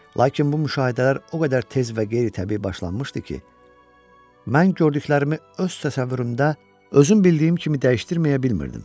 Lakin bu müşahidələr o qədər tez və qeyri-təbii başlanmışdı ki, mən gördüklərimi öz təsəvvürümdə özüm bildiyim kimi dəyişdirməyə bilmirdim.